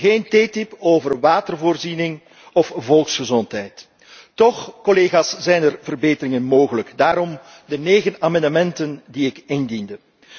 Geen TTIP over watervoorziening of volksgezondheid. Toch, collega's, zijn er verbeteringen mogelijk, vandaar de negen amendementen die ik indiende.